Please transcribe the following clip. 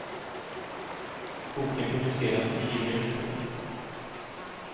Boken publiceras i juli nästa år.